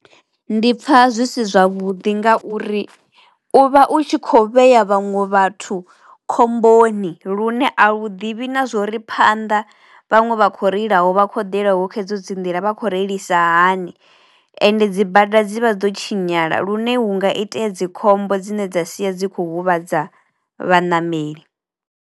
Ndi pfa zwi si zwavhuḓi ngauri u vha u tshi kho vhea vhaṅwe vhathu khomboni lune a u ḓivhi na zwori phanḓa vhaṅwe vha khou reilaho, vha khou ḓelaho kha edzo dzi nḓila vha kho reilisa hani ende dzi bada dzi vha dzo tshinyala lune hunga itea dzi khombo dzine dza sia dzi kho huvhadza vhaṋameli.